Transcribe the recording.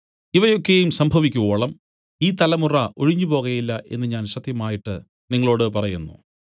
ഇവയൊക്കെയും സംഭവിക്കുവോളം ഈ തലമുറ ഒഴിഞ്ഞുപോകയില്ല എന്നു ഞാൻ സത്യമായിട്ട് നിങ്ങളോടു പറയുന്നു